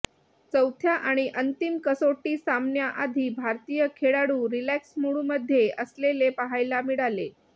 चौथ्या आणि अंतिम कसोटी सामन्याआधी भारतीय खेळाडू रिलॅक्स मूडमध्ये असलेले पाहायला मिळाले